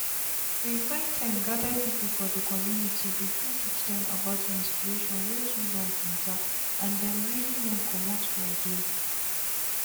we find time gather people for the communitybegin teach dem about menstruation wey too long mattter and dem really learn commot for there.